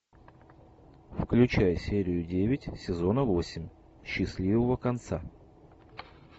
включай серию девять сезона восемь счастливого конца